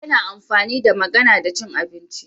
Baki yana amfani da magana da cin abinci